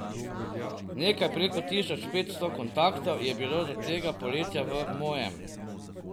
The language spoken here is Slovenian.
Nekaj preko tisoč petsto kontaktov je bilo do tega poletja v mojem.